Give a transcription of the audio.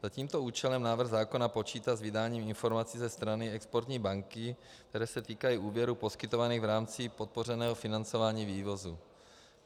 Za tímto účelem návrh zákona počítá s vydáním informací ze strany exportní banky, které se týkají úvěrů poskytovaných v rámci podpořeného financování vývozu.